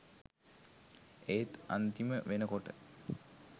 ඒත් අන්තිම වෙනකොට